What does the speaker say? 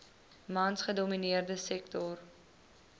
mans gedomineerde sektor